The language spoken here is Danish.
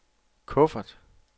kuffert